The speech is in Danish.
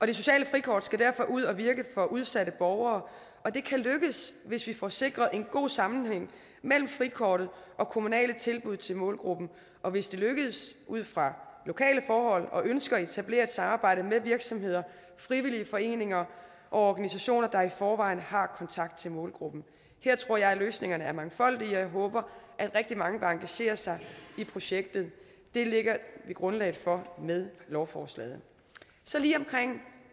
det sociale frikort skal derfor ud og virke for udsatte borgere og det kan lykkes hvis vi får sikret en god sammenhæng mellem frikortet og kommunale tilbud til målgruppen og hvis det lykkes ud fra lokale forhold og ønsker at etablere et samarbejde med virksomheder frivillige foreninger og organisationer der i forvejen har kontakt til målgruppen her tror jeg at løsningerne er mangfoldige og jeg håber at rigtig mange vil engagere sig i projektet det lægger vi grundlaget for med lovforslaget så lige omkring